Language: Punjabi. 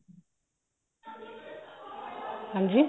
ਹਾਂਜੀ